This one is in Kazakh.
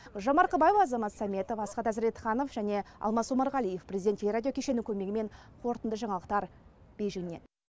гүлжан марқабаева азамат сәметов асхат азретханов және алмас омарғалиев президент теле радио кешені көмегімен қорытынды жаңалықтар бейжіңнен